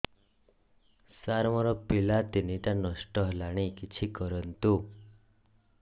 ସାର ମୋର ପିଲା ତିନିଟା ନଷ୍ଟ ହେଲାଣି କିଛି କରନ୍ତୁ